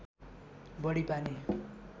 बढी पानी